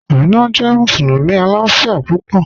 Ámínà jẹ́ musulumi aláàfíà púpọ̀